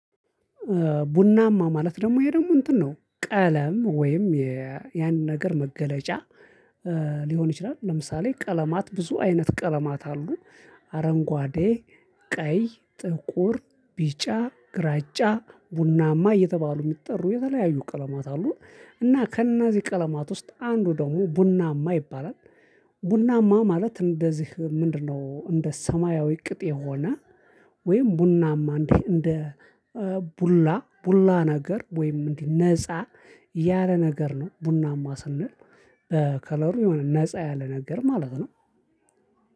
ቡናማ ማለት ደግሞ ይሄ ደግሞ እንትን ነው ቀለም ወይም ያን ነገር መገለጫ ይችላል። ለምሳሌ ቀለማት ብዙ አይነት ቀለማት አሉ። አረንጓዴ ቀይ ጥቁር ቢጫ ግራጫ ቡናማ እየተባሉ የሚጠሩ የተለያዩ ቀለማት አሉ እና ከእነዚህ ቀለማት ውስጥ አንዱ ደግሞ ቡናማ ይባላል። ቡናማ ማለት እንደዚህ ምንድነው? እንደ ሰማያዊ ቅጥ የሆነ ወይም ቡናማ እንዴ እንደ ቡላ ቡላ ነገር ወይም እንዲህ ነፃ ያለ ነገር ነው። ቡናማ ስንል በከለሩ የሆነ ነፃ ያለ ነገር ማለት ነው።